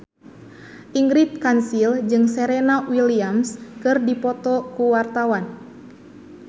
Ingrid Kansil jeung Serena Williams keur dipoto ku wartawan